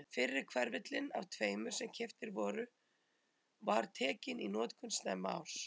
Fyrri hverfillinn af tveimur sem keyptir voru var tekinn í notkun snemma árs